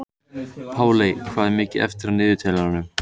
Páley, hvað er mikið eftir af niðurteljaranum?